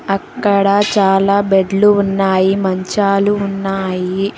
అక్కడ చాలా బెడ్లు ఉన్నాయి మంచాలు ఉన్నాయి.